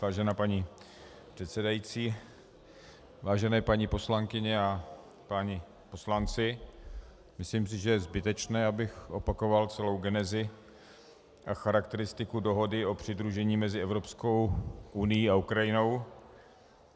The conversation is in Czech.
Vážená paní předsedající, vážené paní poslankyně a páni poslanci, myslím si, že je zbytečné, abych opakoval celou genezi a charakteristiku dohody o přidružení mezi Evropskou unií a Ukrajinou.